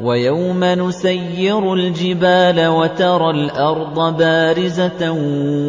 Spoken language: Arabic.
وَيَوْمَ نُسَيِّرُ الْجِبَالَ وَتَرَى الْأَرْضَ بَارِزَةً